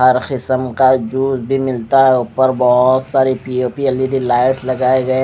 हर किसम का जूस भी मिलता है उपर बोहोत सारी पि_ओ_पि एल_ई_डी लाइट्स लगाये गये--